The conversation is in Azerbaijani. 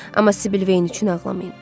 Amma Sibil Veyin üçün ağlamayın.